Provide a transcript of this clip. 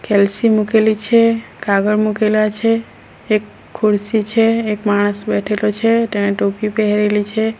કેલ્સી મૂકેલી છે કાગળ મુકેલા છે એક ખુરસી છે એક માણસ બેઠેલો છે તેણે ટોપી પેહરેલી છે.